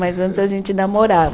Mas antes a gente namorava.